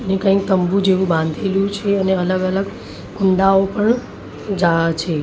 ને કઈ તંબુ જેવું બાંધેલું છે અને અલગ અલગ કુંડાઓ પણ છે.